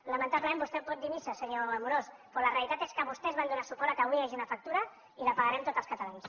lamentablement vostè pot dir missa senyor amorós però la realitat és que vostès van donar suport que avui hi hagi una factura i la pagarem tots els catalans